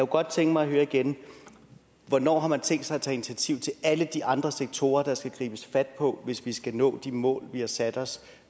godt tænke mig at høre igen hvornår har man tænkt sig at tage initiativ til alle de andre sektorer der skal gribes fat på hvis vi skal nå de mål vi har sat os